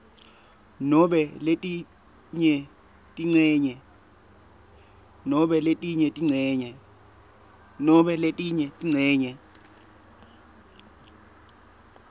nobe letinye tincenye